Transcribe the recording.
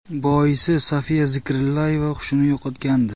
Boisi Sofiya Zikrillayeva hushini yo‘qotgandi.